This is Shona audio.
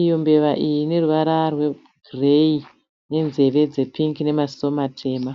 Iyo mbeva ine ruvara rwegireyi nezveve dzepingi namaziso matema.